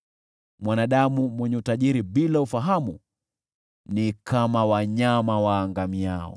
Mwanadamu mwenye utajiri bila ufahamu ni kama wanyama waangamiao.